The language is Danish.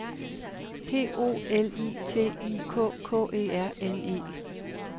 P O L I T I K K E R N E